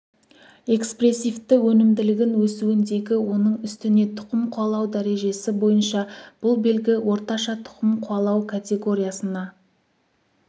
экспресивті өнімділігін өсуіндегі оның үстіне тұқым қуалау дәрежесі бойынша бұл белгі орташа тұқым қуалау категориясына